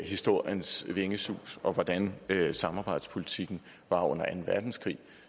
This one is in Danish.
historiens vingesus og hvordan samarbejdspolitikken var under anden verdenskrig